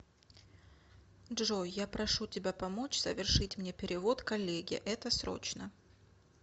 джой я прошу тебя помочь совершить мне перевод коллеге это срочно